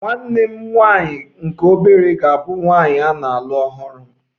Nwanne m nwanyị nke obere ga-abụ nwanyị na-alụ ọhụrụ m